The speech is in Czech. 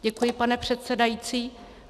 Děkuji, pane předsedající.